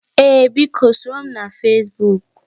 Ee biko, soro m na Fesbuk